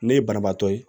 Ne ye banabaatɔ ye